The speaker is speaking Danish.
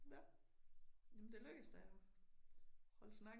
Nå. Jamen da lykkedes da. At holde snakken